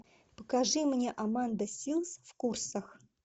покажи мне аманда силз в курсах